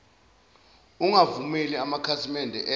ungavumeli amakhasimede ezwe